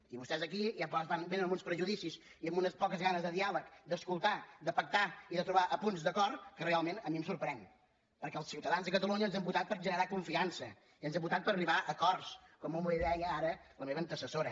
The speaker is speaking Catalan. i vostès aquí ja ens vénen amb uns prejudicis i amb unes poques ganes de diàleg d’escoltar de pactar i de trobar punts d’acord que realment a mi em sorprèn perquè els ciutadans de catalunya ens han votat per generar confiança i ens han votat per arribar a acords com molt bé deia ara la meva antecessora